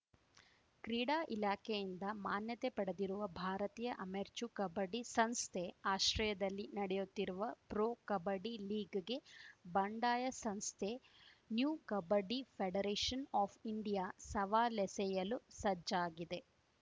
ಕ್ರೀಡಾ ಇಲಾಖೆಯಿಂದ ಮಾನ್ಯತೆ ಪಡೆದಿರುವ ಭಾರತೀಯ ಅಮೆರ್ಚು ಕಬಡ್ಡಿ ಸಂಸ್ಥೆ ಆಶ್ರಯದಲ್ಲಿ ನಡೆಯುತ್ತಿರುವ ಪ್ರೊ ಕಬಡ್ಡಿ ಲೀಗ್‌ಗೆ ಬಂಡಾಯ ಸಂಸ್ಥೆ new kabaddi federation of India ಸವಾಲೆಸೆಯಲು ಸಜ್ಜಾಗಿದೆ